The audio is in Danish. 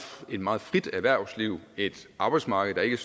meget frit erhvervsliv et arbejdsmarked der ikke